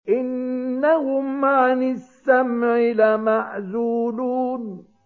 إِنَّهُمْ عَنِ السَّمْعِ لَمَعْزُولُونَ